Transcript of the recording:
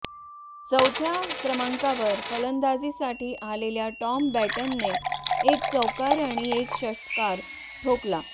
चौथ्या क्रमांकावर फलंदाजीसाठी आलेल्या टॉम बँटनने एक चौकार आणि एक षटकार ठोकला